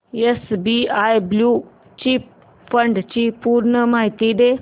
SBI blue chip fund ची पूर्ण माहिती दे